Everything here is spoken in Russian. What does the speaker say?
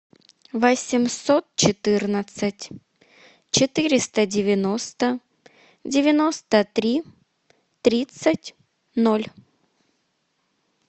восемьсот четырнадцать четыреста девяносто девяносто три тридцать ноль